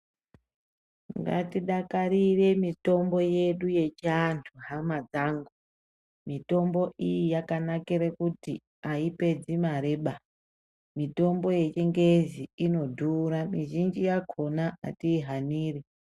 Ngatidakarire mitombo yedu yechivantu hama dzangu mitombo iyi yakanakire kuti aipedzi mareba mitombo yechingezi inodhura mizhinji yakona atihaniri.